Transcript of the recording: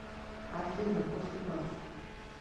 афина после вас